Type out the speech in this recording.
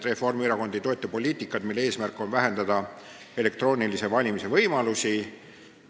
Reformierakond ei toeta poliitikat, mille eesmärk on vähendada elektroonilise hääletamise võimalusi.